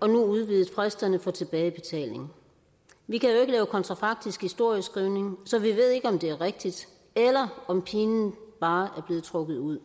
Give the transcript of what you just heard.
og nu udvidet fristerne for tilbagebetaling vi kan jo ikke lave kontrafaktisk historieskrivning så vi ved ikke om det er rigtigt eller om pinen bare er blevet trukket ud